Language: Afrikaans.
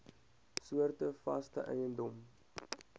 soorte vaste eiendom